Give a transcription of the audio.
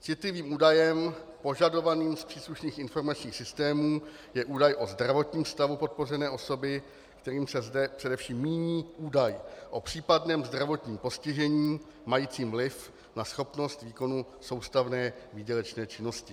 Citlivým údajem požadovaným z příslušných informačních systémů je údaj o zdravotním stavu podpořené osoby, kterým se zde především míní údaj o případném zdravotním postižení majícím vliv na schopnost výkonu soustavné výdělečné činnosti.